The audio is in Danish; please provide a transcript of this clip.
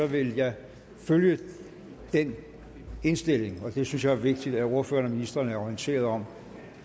vil jeg følge den indstilling det synes jeg er vigtigt at ordførererne og ministrene er orienteret om